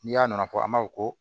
N'i y'a nana fɔ an b'a fɔ ko